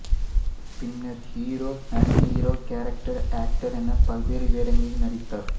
பின்னர் hero anti hero character actor என பல்வேறு வேடங்களில் நடித்தார்